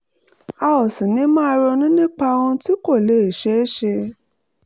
a ò sì ní máa ronú nípa ohun tí kò lè ṣeé ṣe